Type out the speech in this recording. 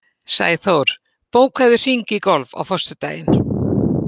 Sæþór, bókaðu hring í golf á föstudaginn.